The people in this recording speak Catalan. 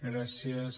gràcies